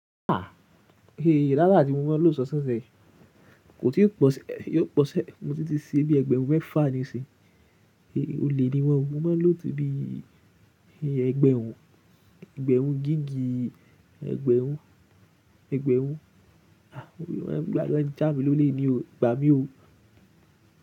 Ah! Eyi rárá tí mo mọ̀ lọ sọ sẹsẹ. Kò tíì pọ̀ṣẹ́, mo tí ti ṣe bíi ẹgbẹ̀rún mẹ́fà ní ìṣin. Olè ni wọ́n, mo mọ̀ lọ̀ tó bí i ẹgbẹ̀rún, ẹgbẹ̀rún gigi, ẹgbẹ̀rún, ẹgbẹ̀rún. Ah! Mo rí wọ́n gbà já̀ mí lólè ní o, gbà mí o.